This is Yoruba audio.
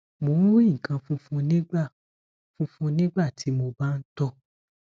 mo ń rí nǹkan fúnfun nígbà fúnfun nígbà tí mo bá ń tọ